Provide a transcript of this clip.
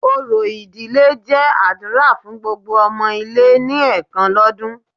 Orò ìdílé jẹ́ àdúrà fun gbogbo ọmọ ilé ni ẹ̀kan lọ́dún